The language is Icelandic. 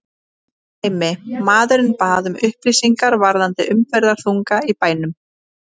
Dæmi: Maðurinn bað um upplýsingar varðandi umferðarþunga í bænum.